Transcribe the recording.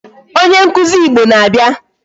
Onye nkụzi Igbo na-abịa.